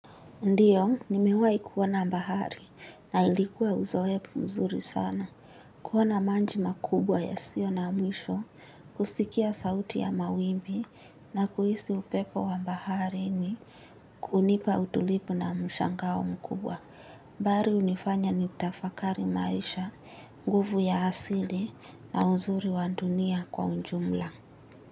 Ndiyo, nimewai kuona bahari na ilikuwa uzoefu mzuri sana. Kuona maji makubwa yasio na mwisho, kusikia sauti ya mawimbi na kuhisi upepo wa baharini kunipa utulivu na mshangao mkubwa. Bahari hunifanya nitafakari maisha, nguvu ya asili na uzuri wa dunia kwa ujumla.